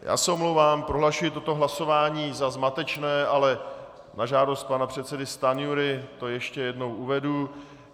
Tak se omlouvám, prohlašuji toto hlasování za zmatečné, ale na žádost pana předsedy Stanjury to ještě jednou uvedu.